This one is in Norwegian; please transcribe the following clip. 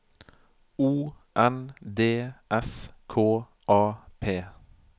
O N D S K A P